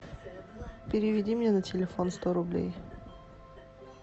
переведи мне на телефон сто рублей